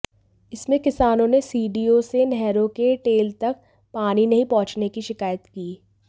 इसमें किसानों ने सीडीओ से नहरों के टेल तक पानी नहीं पहुंचने की शिकायत की